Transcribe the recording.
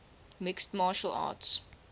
mixed martial arts